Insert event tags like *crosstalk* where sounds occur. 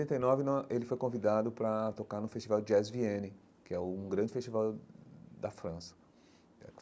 e nove, *unintelligible* ele foi convidado para tocar no Festival Jazz Vienne, que é um grande festival da França.